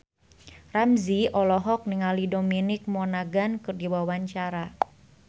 Ramzy olohok ningali Dominic Monaghan keur diwawancara